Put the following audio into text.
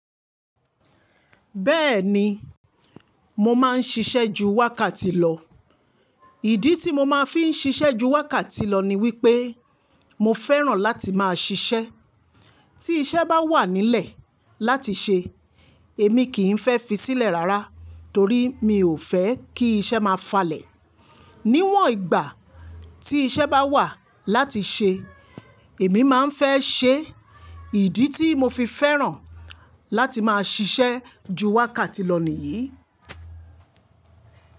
Bẹ́ẹ̀ni, mo máa ń ṣiṣẹ́ ju wákàtí lọ. Ìdí tí mo máa fi ń ṣiṣẹ́ ju wákàtí lọ ni wípé mo fẹ́ràn láti máa ṣiṣẹ́. Tí iṣẹ́ bá wà nílẹ̀ láti ṣe, èmi kì í fẹ́ fi sílẹ̀ rárá, torí mi ò fẹ́ kí iṣẹ́ máa falẹ̀. Níwọ̀n ìgbà tí iṣẹ́ bá wà láti ṣe, èmi máa ń fẹ́ ṣe. Ìdí tí mo fi fẹ́ràn láti máa ṣiṣẹ́ ju wákàtí lọ nìyí.